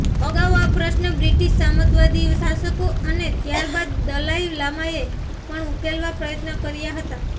અગાઉ આ પ્રશ્ન બ્રિટિશ સામંતવાદી શાસકો અને ત્યારબાદ દલાઈ લામાએ પણ ઉકેલવા પ્રયત્ન કર્યા હતા